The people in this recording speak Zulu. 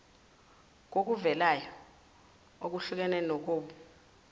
kokuvelayo okuhlukene kobuh